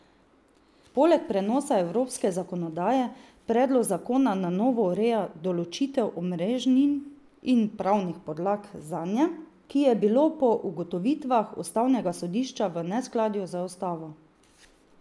Poleg prenosa evropske zakonodaje predlog zakona na novo ureja določitev omrežnin in pravnih podlag zanje, ki je bilo po ugotovitvah ustavnega sodišča v neskladju z ustavo.